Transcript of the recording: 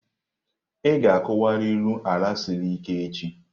Ị ga-akuwariru ala siri ike echi!